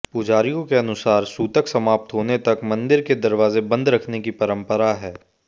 पुजारियों के अनुसार सूतक समाप्त होने तक मंदिर के दरवाजे बंद रखने की परंपरा है